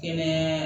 Kɛnɛya